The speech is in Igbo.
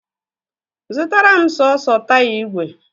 Zụtara m sọọsọ taya ìgwè!